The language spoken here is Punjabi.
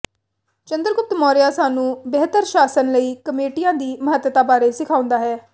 ਚੰਦਰਗੁਪਤ ਮੌਰਿਆ ਸਾਨੂੰ ਬਿਹਤਰ ਸ਼ਾਸਨ ਲਈ ਕਮੇਟੀਆਂ ਦੀ ਮਹੱਤਤਾ ਬਾਰੇ ਸਿਖਾਉਂਦਾ ਹੈ